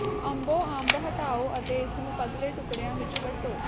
ਅੰਬੋਂ ਅੰਬ ਹਟਾਓ ਅਤੇ ਇਸ ਨੂੰ ਪਤਲੇ ਟੁਕੜਿਆਂ ਵਿੱਚ ਕੱਟੋ